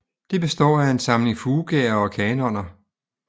Det består af en samling fugaer og kanoner